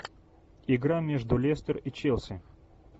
игра между лестер и челси